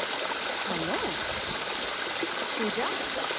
hello Puja